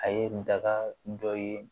A ye kuntaga dɔ ye